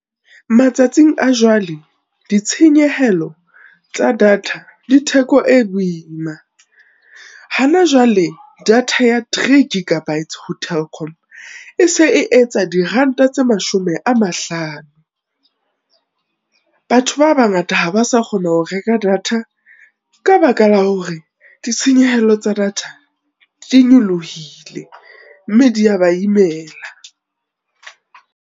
Matsatsing a jwale, ditshenyehelo tsa data di theko e boima, hana jwale data ya 3 gigabytes ho Telkom, e se e etsa diranta tse mashome a mahlano. Batho ba bangata ha ba sa kgona ho reka data, ka baka la hore ditshenyehelo tsa data di nyolohile, mme di aba imela.